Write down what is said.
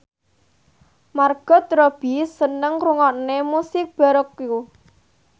Margot Robbie seneng ngrungokne musik baroque